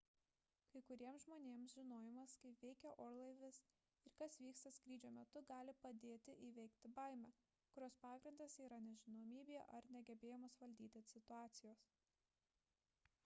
kai kuriems žmonės žinojimas kaip veikia orlaivis ir kas vyksta skrydžio metu gali padėti įveikti baimę kurios pagrindas yra nežinomybė ar negebėjimas valdyti situacijos